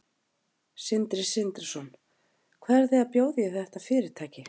Sindri Sindrason: Hvað eruð þið að bjóða í þetta fyrirtæki?